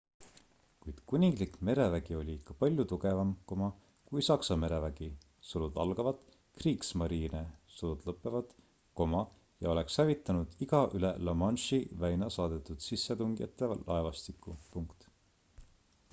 kuid kuninglik merevägi oli ikka palju tugevam kui saksa merevägi kriegsmarine ja oleks hävitanud iga üle la manche'i väina saadetud sissetungijate laevastiku